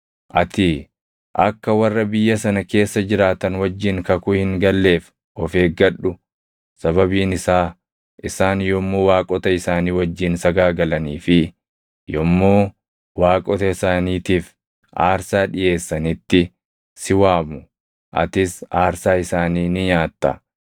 “Ati akka warra biyya sana keessa jiraatan wajjin kakuu hin galleef of eeggadhu. Sababiin isaa isaan yommuu waaqota isaanii wajjin sagaagalanii fi yommuu waaqota isaaniitiif aarsaa dhiʼeessanitti si waamu; atis aarsaa isaanii ni nyaatta.